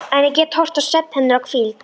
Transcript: Enn get ég horft á svefn hennar og hvíld.